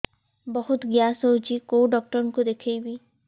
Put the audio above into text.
ବହୁତ ଗ୍ୟାସ ହଉଛି କୋଉ ଡକ୍ଟର କୁ ଦେଖେଇବି